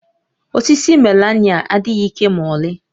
Osisi melaịna adịghị ike ma ọlị